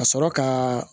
Ka sɔrɔ ka